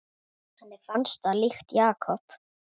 Henni fannst það líkt Jakob.